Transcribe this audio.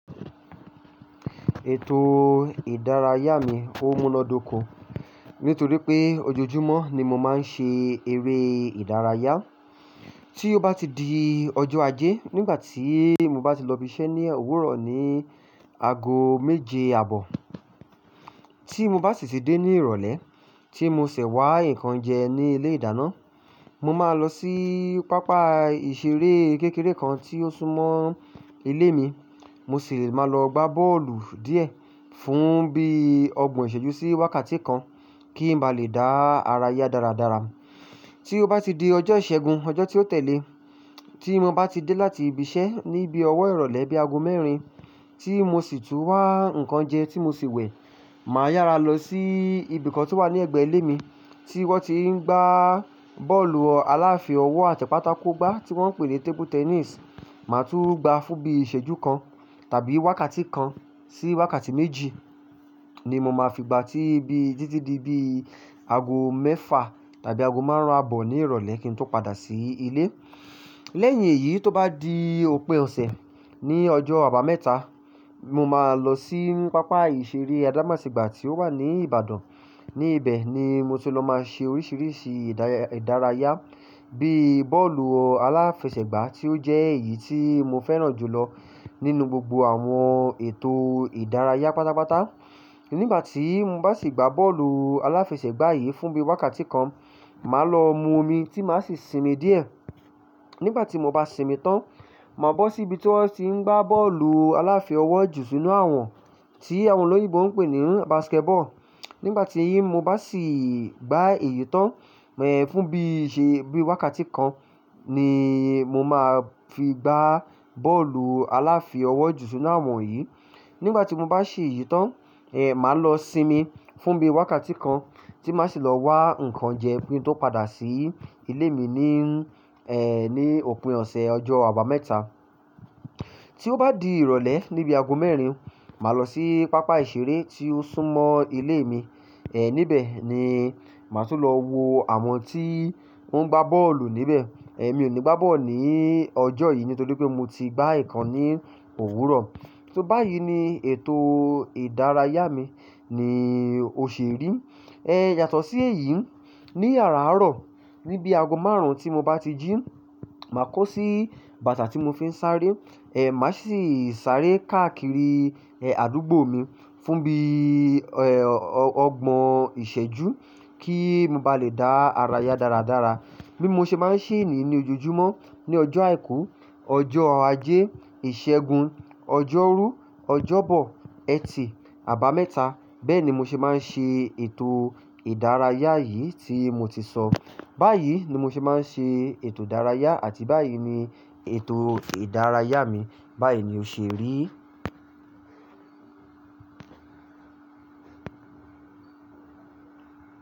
Ètò ìdárayá mi ó múnádóko nítorí pé ojoojúmọ́ ni mo máa ń ṣe eré ìdárayá. Tí ó bá ti di ọjọ́ ajé nígbà tí mo bá ti lọ ibi iṣẹ́ ní òwúrọ̀ ní aago méje ààbọ̀, tí mo bá sì ti dé ní ìrọ̀lẹ́ tí mo sì wá nǹkan jẹ ní ilé ìdáná, mo máa lọ sí pápá ìṣeré kékeré kan tí ó súnmọ́ ilé mi, mo sì máa lọ gbá bọ́ọ̀lù díẹ̀ fún bíi ọgbọ̀n ìṣẹ́jú sí wákàtí kan kí n ba lè dá ara yá dáradára. Tí ó bá ti di ọjọ́ ìṣẹ́gun, ọjọ́ tí ó tẹ̀lé e, tí mo bá ti dé láti ibi iṣẹ́ ní bí ọwọ́ ìrọ̀lẹ́ bí aago mẹ́rin tí mo sì tún wá nǹkan jẹ tí mo sì wẹ̀, màá yára lọ sí ibi kan tí ó wà ní ẹ̀gbẹ́ ilé mi tí wọ́n ti ń gbá bọ́ọ̀lù aláfí ọwọ́ àti pátákó gbá tí wọ́n ń pè ní table tennis, màá tún gbá fún bí i ìṣẹ́jú kan tàbí wákàtí kan sí wákàtí méjì ni mo máa fi gba tí bí i títí di bí i aago mẹ́fà tàbí aago márùn-ún àbọ̀ ní ìrọ̀lẹ́ kí n tó padà sí ilé. Lẹ́yìn èyí, tó bá di òpin ọ̀sẹ̀ ní ọjọ́ àbámẹ́ta, mo máa lọ sí pápá ìṣeré Adamasingba tí ó wà ní Ìbàdàn. Ní ibẹ̀ ni mo ti lọ máa ṣe oríṣìíríṣìí ìdárayá bíi bọ́ọ̀lù aláfẹsẹ̀gbá tí ó jẹ́ èyí tí mo fẹ́ràn jù lọ nínú gbogbo àwọn ètò ìdárayá pátápátá. Nígbà tí mo bá sì gbá bọ́ọ̀lù aláfẹsẹ̀gbá yìí fún bí i wákàtí kan, màá lọ mu omi tí màá sì sinmi díẹ̀. Nígbà tí mo bá sinmi tán, màá bọ́ sí ibi tí wọ́n ti ń gbá bọ́ọ̀lù aláfí ọwọ́ jù sínú àwọ̀n tí àwọn olóyìnbó ń pè ní basketball. Nígbà tí mo bá sì gbá èyí tán, ẹ̀, fún bí i ṣe bí i wákàtí kan ni mo máa fi gbá bọ́ọ̀lù aláfí ọwọ́ jù sínú àwọ̀n yìí. Nígbà tí mo bá ṣèyìí tán, màá lọ sinmi fún bí i wákàtí kan tí màá sì lọ wá nǹkan jẹ kí n tó padà sí ilé mi ní, ní òpin ọ̀sẹ̀ ọjọ́ àbámẹ́ta. Tí ó bá di ìrọ̀lẹ́ níbi aago mẹ́rin, màá lọ sí pápá ìṣeré tí ó súnmọ́ ilé mi. Níbẹ̀ ni màá tún lọ wo àwọn tí ó ń gbá bọ́ọ̀lù níbẹ̀. Mi ò ní gbá bọ́ọ̀lù ní ọjọ́ yìí nítorí pé mo ti gbá ìkan ní òwúrọ̀. Báyìí ni ètò ìdárayá mi ni ó ṣe rí. Yàtọ̀ sí èyí, ní àràárọ̀ ní bí aago márùn-ún tí mo bá ti jí, màá kó sí bàtà tí mo fi ń sáré, màá sì sáré káàkiri, àdúgbò mi fún bí, ọgbọ̀n ìṣẹ́jú kí n ba lè dá ara yá dáradára. Bí mo ṣe máa ń ṣeé nìí ní ojoojúmọ́ ní ọjọ́ àìkú, ọjọ Ajé, Ìṣẹ́gun, Ọjọ́rú, Ọjọ́bọ̀, Ẹtì, Àbámẹ́ta. Bẹ́ẹ̀ ni mo ṣe máa ń ṣe ètò ìdárayá yìí tí mo ti sọ. Báyìí ni mo ṣe máa ń ṣe ètò ìdárayá àti báyìí ni ètò ìdárayá mi. Bá yìí ni oṣù erin.